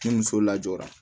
Ni muso lajɔra